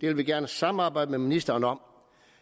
vil vi gerne samarbejde med ministeren om